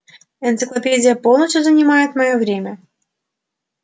энциклопедия полностью занимает моё время